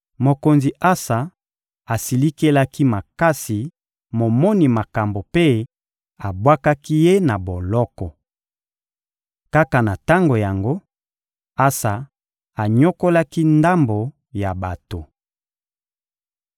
Mokonzi Asa asilikelaki makasi momoni makambo mpe abwakaki ye na boloko. Kaka na tango yango, Asa anyokolaki ndambo ya bato. (1Ba 15.23-24)